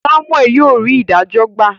Samuel yíò rí idajo gba